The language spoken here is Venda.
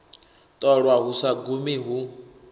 ṱolwa hu sa gumi hu